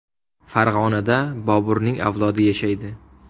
Farg‘onada Boburning avlodi yashaydi.